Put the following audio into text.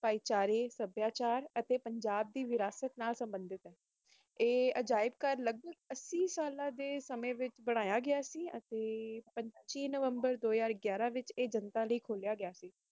ਭਾਈਚਾਰੇ ਸੱਭਿਆਚਾਰਕ ਅਤੇ ਪੰਜਾਬ ਦੀ ਵਿਰਾਸਤ ਨਾਲ ਸਬੰਧਤ ਇਹ ਅਜਾਇਬ ਘਰ ਲੱਖ ਸਾਲ ਦਾ ਦਿਨ ਪਚੀਸ ਨਵੰਬਰ ਦੋ ਵਿਚ ਆਏ ਜਨਤਾ ਬਾਰੇ ਖੋਲ ਗਯਾ ਸੀ